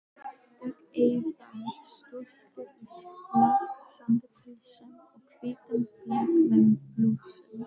Dökkeygðar stúlkur í flaksandi pilsum og hvítum flegnum blússum.